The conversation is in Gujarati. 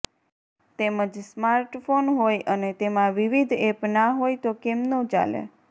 તેમજ સ્માર્ટફોન હોય અને તેમાં વિવિધ એપ ના હોય તો કેમનું ચાલે